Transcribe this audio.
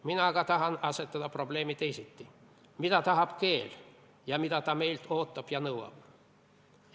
Mina aga tahan asetada probleemi teisiti: mida tahab keel, mida ta meilt ootab ja nõuab?